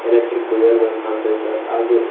electric wire ಗಳು ಕಾಣ್ತಾವೆ sir ಹಾಗು--